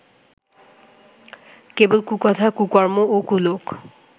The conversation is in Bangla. কেবল কুকথা কুকর্ম ও কুলোক